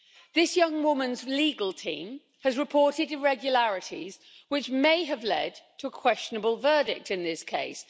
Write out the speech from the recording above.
This young woman's legal team has reported irregularities, which may have led to a questionable verdict in this case.